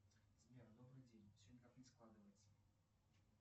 сбер добрый день все никак не складывается